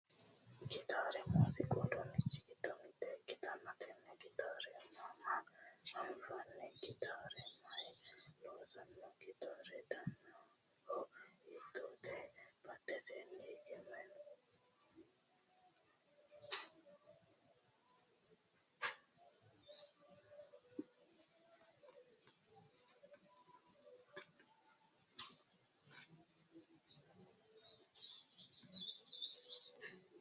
Gitaare muuziqu uduunnichi giddo mitte ikkitanna tenne gitaare mama anfanni? Gitaare mayiinni loonsanni? Gitaare danano hiittote? Badheseenni higeno mayi noo?